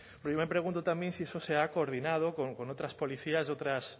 yo me pregunto también si eso se ha coordinado con otras policías y otras